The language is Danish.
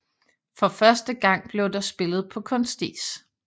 For første gang blev der spillet på kunstis